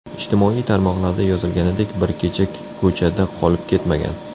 Ijtimoiy tarmoqlarda yozilganidek bir kecha ko‘chada qolib ketmagan.